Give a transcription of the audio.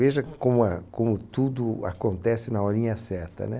Veja como a como tudo acontece na horinha certa, né?